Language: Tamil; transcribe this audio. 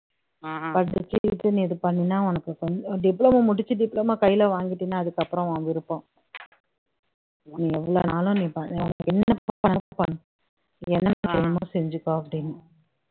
படிச்சிட்டு நீ இது பண்ணினீனா உனக்கு கொ diploma முடிச்சு diploma நீ கையில வாங்கிடீன்னா அதுக்கப்பறம் உன் விருப்பம் நீ என்ன எவ்ளோன்னாலும் என்னென்ன செய்யணுமோ செஞ்சுக்கோ அப்படின்னு